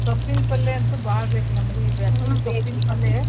ಸೊಪ್ಪಿನ್ಪಲ್ಲೇ ಅಂತೂ ಬಾಳ್ ಬೇಕ್ ನಮ್ಗೂ ಈ ಬ್ಯಾಸಿಗ್ಗೇ .